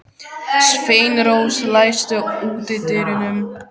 Sveinrós, læstu útidyrunum.